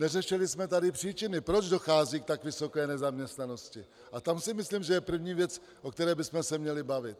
Neřešili jsme tady příčiny, proč dochází k tak vysoké nezaměstnanosti, a tam si myslím, že je první věc, o které bychom se měli bavit.